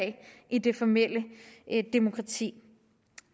i det formelle demokrati